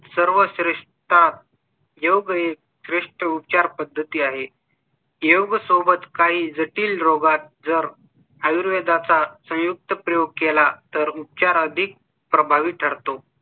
सर्व ख्रिस्ता घेऊन फ्रेश उपचार पद्धती आहे. योग सोबत काही जटिल रोगात जर आयुर्वेदा चा संयुक्त प्रयोग केला तर उपचार अधिक प्रभावी ठरतो.